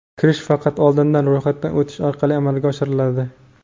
Kirish faqat oldindan ro‘yxatdan o‘tish orqali amalga oshiriladi.